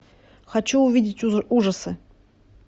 хочу увидеть ужасы